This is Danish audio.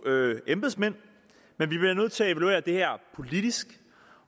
embedsmænd men vi bliver nødt til at evaluere det her politisk